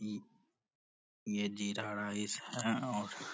ई ये जीरा राइस है और --